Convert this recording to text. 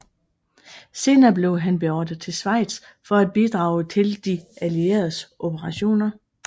Senere blev han beordret til Schweiz for at bidrage til de allieredes operationer